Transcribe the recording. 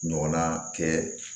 Ɲɔgɔnna kɛ